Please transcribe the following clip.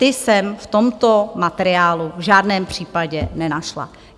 Ty jsem v tomto materiálu v žádném případě nenašla.